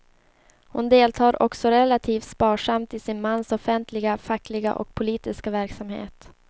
Hon deltar också relativt sparsamt i sin mans offentliga fackliga och politiska verksamhet.